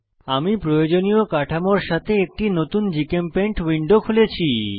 আমি প্রয়োজনীয় কাঠামোর সাথে একটি নতুন জিচেমপেইন্ট উইন্ডো খুলেছি